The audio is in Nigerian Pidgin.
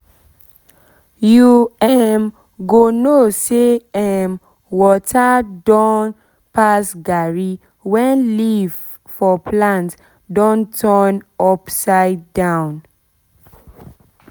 you um go know say um water don don pass garri when leaf for plant don turn um upside down